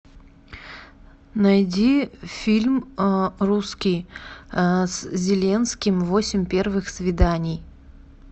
найди фильм русский с зеленским восемь первых свиданий